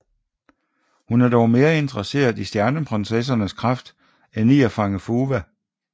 Hun er dog mere interesseret i Stjerneprinsessernes kraft end i at fange Fuwa